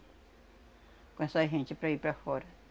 Com essa gente, para ir para fora.